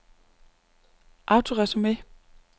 autoresume